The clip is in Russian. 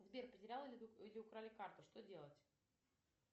сбер потеряла или украли карту что делать